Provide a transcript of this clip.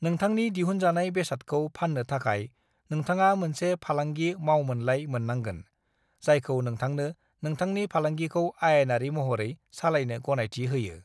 नोंथांनि दिहुनजानाय बेसादखौ फाननो थाखाय नोंथाङा मोनसे फालांगि मावमोनलाइ मोननांगोन, जायखौ नोंथांनो नोंथांनि फालांगिखौ आयेनारि महरै सालायनो गनायथि होयो।